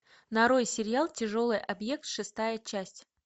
нарой сериал тяжелый объект шестая часть